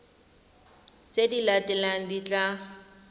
tse di latelang di tla